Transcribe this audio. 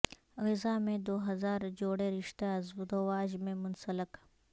غزہ میں دو ہزار جوڑے رشتہ ازدواج میں منسلک